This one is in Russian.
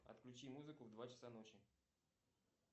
отключи музыку в два часа ночи